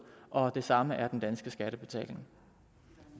og det samme er den danske skattebetaling